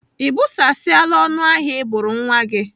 Ị bụsasiala ọnụ ahụ Ị bụrụ nwa gị?